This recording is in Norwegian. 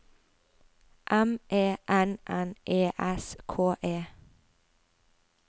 M E N N E S K E